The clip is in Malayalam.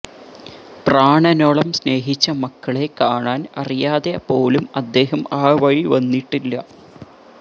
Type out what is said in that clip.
പ്രാണനോളം സ്നേഹിച്ച മക്കളെ കാണാന് അറിയാതെ പോലും അദ്ദേഹം ആ വഴി വന്നിട്ടില്ല